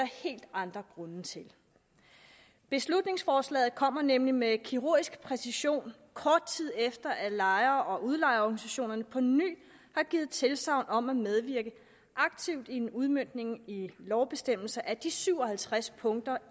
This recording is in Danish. helt andre grunde til beslutningsforslaget kommer nemlig med kirurgisk præcision kort tid efter at lejer og udlejerorganisationerne på ny har givet tilsagn om at medvirke aktivt i en udmøntning i lovbestemmelser af de syv og halvtreds punkter